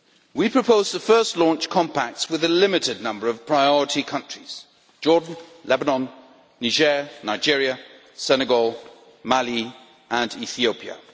We propose to first launch contacts with a limited number of priority countries Jordan, Lebanon, Niger, Nigeria, Senegal, Mali and Ethiopia.